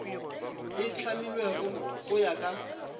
e hlamilwego go ya ka